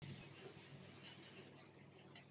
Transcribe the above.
Hvers konar hestur er þetta eiginlega?